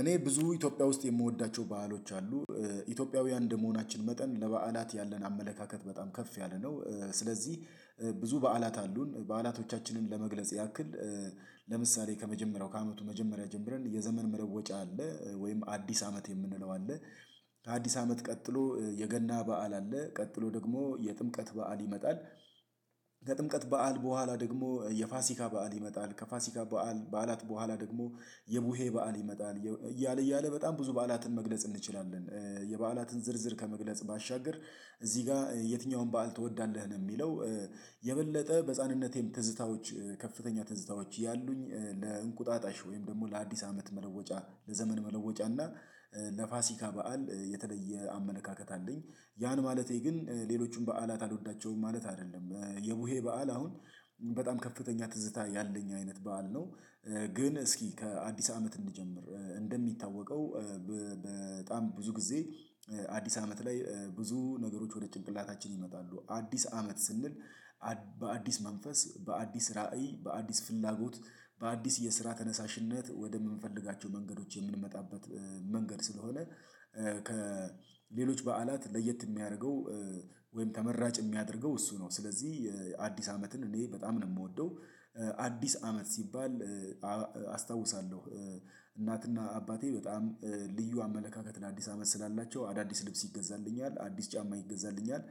እኔ ብዙ ኢትዮጵያ ውስጥ የምወዳቸው ባህሎች አሉ ኢትዮጵያውያን እንደመሆናችን መጠን ለበዓላት ያለን አመለካከት በጣም ከፍ ያለ ነው። ስለዚህ ብዙ በዓላት አሉን በዓላቶቻችንን ለመግለጽ ያክል ለምሳሌ ከመጀመሪያው ከአመቱ መጀመሪያ ጀምረን የዘመን መለወጫ አለ ወይም አዲስ አመት የምንለው አለ። ከአዲስ አመት ቀጥሎ የገና በዓል አለ ቀጥሎ ደግሞ የጥምቀት በዓል ይመጣል። በዓል በኋላ ደግሞ የፋሲካ በዓል ይመጣል ከፋሲካ በዓል በዓላት በውሀላ ደግሞ የቡሄ በዓል ይመጣል እያለ እያለ በጣም ብዙ በዓላትን መግለጽ እንችላለን። የበዓላትን ዝርዝር ከመግለጽ ባሻገር እዚህ ጋር የትኛውን በዓል ትወዳለህ ነው የሚለው? የበለጠ በህፃንነቴም ትዝታዎች ከፍተኛ ትዝታዎች ያሉኝ ለእንቁጣጣሽ ወይም ደግሞ ለአዲስ አመት መለወጫ ለዘመን መለወጫ እና ለፋሲካ በዓል የተለየ አመለካከት አለኝ። ያን ማለቴ ግን ሌሎቹን በዓላት አልወዳቸውም ማለት አይደለም። የቡሄ በዓል አሁን በጣም ከፍተኛ ትዝታ ያለኝ አይነት በዓል ነው። ግን እስኪ ከአዲስ አመት እንጀምር እንደሚታወቀው በጣም ብዙ ጊዜ አዲስ አመት ላይ ብዙ ነገሮች ወደ ጭንቅላታችን ይመጣሉ አዲስ አመት ስንል በአዲስ መንፈስ በአዲስ ራዕይ በአዲስ ፍላጎት በአዲስ የስራ ተነሳሽነት ወደምንፈልጋቸው መንገዶች የምንመጣበት። መንገድ ስለሆነ ከሌሎች በዓላት ለየት የሚያደርገው ወይም ተመራጭ የሚያደርገው እሱ ነው። ስለዚህ አዲስ አመትን እኔ በጣም ነው የምወደው። አዲስ አመት ሲባል አስታውሳለሁ እናትና አባቴ በጣም ልዩ አመለካከት ለአዲስ አመት ስላላቸው አዳዲስ ልብስ ይገዛልኛል አዲስ ጫማ ይገዛልኛል።